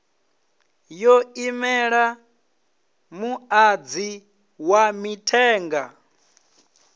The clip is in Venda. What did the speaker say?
yo imela muṅadzi wa mithenga